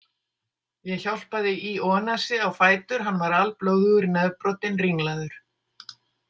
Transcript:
Ég hjálpaði Ionasi á fætur, hann var alblóðugur, nefbrotinn, ringlaður.